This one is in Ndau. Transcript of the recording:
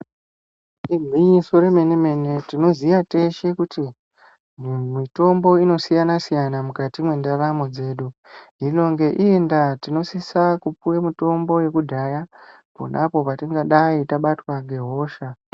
Igwinyiso remene-mene tinoziya tese kuti mitombo inosiyana -siyana mukati mwendaramo dzedu. Hino ngeiyi ndaa tinosisa kupuwe mitombo yekudhaya ponapo patingadai tabatwa ngehosha.